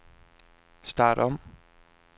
start om